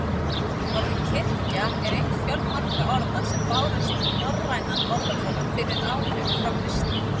Orðið kirkja er eitt fjölmargra orða sem bárust í norrænan orðaforða fyrir áhrif frá kristni.